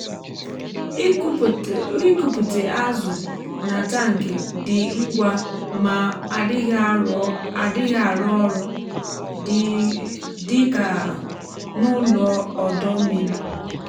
ịkụpute azụ na tankị dị ngwa ma adịghị arọ ọrụ dị um ka um n’ụlọ ọdọ mmiri.